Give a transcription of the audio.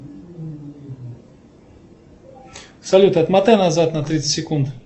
салют отмотай назад на тридцать секунд